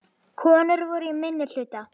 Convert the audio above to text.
Konur voru í minnihluta.